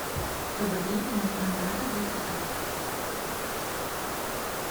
добрый день мне нужна ваза для цветов